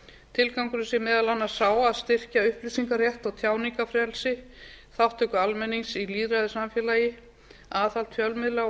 tilgangurinn sé meðal annars sá að styrkja upplýsingarétt og tjáningarfrelsi þátttöku almennings í lýðræðissamfélagi aðhald fjölmiðla og